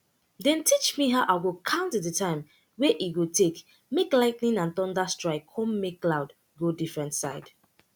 dem teach me how i go count the time wey e go take make lightning and thunder strike con make cloud go different side